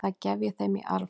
Það gef ég þeim í arf.